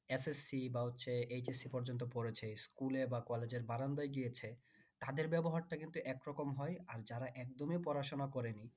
SSC বা হচ্ছে HSC পর্যন্ত পড়েছে school এ বা college এর বারান্দায় গিয়েছে তাদের ব্যবহারটা কিন্তু একরকম হয় আর যারা একদমই পড়াশোনা করেনি